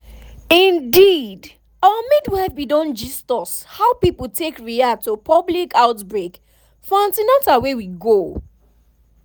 indeedour midwife bin don gist us how people take react to public outbreak for an ten al wey we go